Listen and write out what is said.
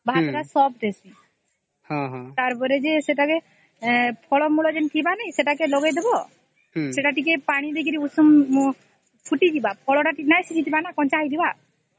ଭାତ ଟା soft ହେଇଯିବ ତାର ପରେ ସେ ଫଳ ମୂଳ ଯେ ନାଇଁ ଥିବା ସେଟାକେ ଲଗେଇଦେବା ସେଟା ଟିକେ ପାଣି ଦେଇକରି ଉଷୁମ ଫୁଟି ଯିବା ଫଳ ଟା ନାଇଁ ସିଝି ଯିବା ନ କଞ୍ଚା ଥିବାସ